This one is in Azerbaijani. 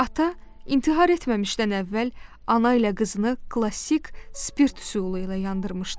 Ata intihar etməmişdən əvvəl ana ilə qızını klassik spirt üsulu ilə yandırmışdı.